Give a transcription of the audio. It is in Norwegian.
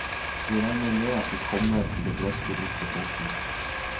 Vi regner med at de kommer til å drøfte disse punktene.